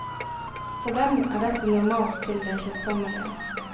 For dem er dette normalt til det kjedsommelige.